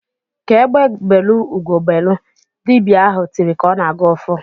"Ka egbe belụ, ugo ebelu!" Dibịa ahụ tiri ka ọ na-agọ ọfọ.